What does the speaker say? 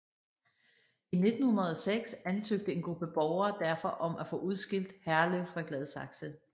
I 1906 ansøgte en gruppe borgere derfor om at få udskilt Herlev fra Gladsaxe